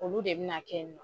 Olu de bina kɛ